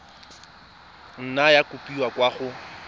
nna ya kopiwa kwa go